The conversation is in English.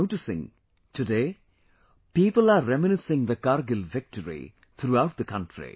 I am noticing, today, people are reminiscing the Kargil Victory, throughout the country